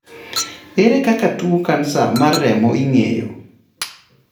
Ere kaka tuo kansa mar remo ing'eyo?